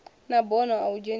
na bono a u dzhenisa